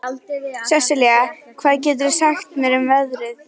Sesilía, hvað geturðu sagt mér um veðrið?